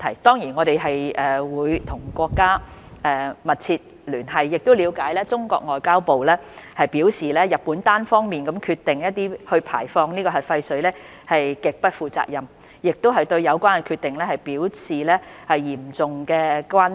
當然，我們會與國家密切聯繫，亦了解中國外交部已表示，日本單方面決定排放核廢水是極不負責任的做法，並對有關決定表示嚴重關切。